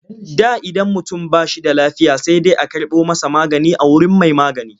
Da idan mutum ba shi da lafiya sai dai a karɓo masa magani a wurin mai magani.